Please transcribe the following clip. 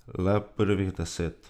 Le prvih deset.